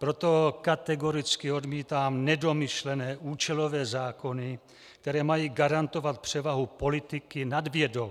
Proto kategoricky odmítám nedomyšlené účelové zákony, které mají garantovat převahu politiky nad vědou.